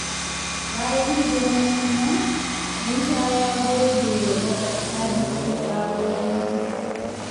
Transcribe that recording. Bayan hidimar suna, Musa ya gode wa maƙwabta da suka kawo kyaututtuka.